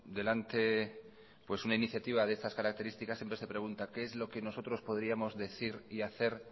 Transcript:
delante una iniciativa de estas características siempre se pregunta qué es lo que nosotros podríamos decir y hacer